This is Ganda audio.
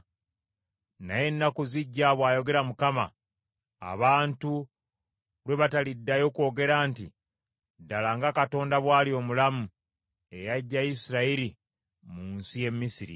“Naye ennaku zijja,” bw’ayogera Mukama . “Abantu lwe bataliddayo kwogera nti, ‘Ddala nga Katonda bw’ali omulamu eyaggya Isirayiri mu nsi y’e Misiri,’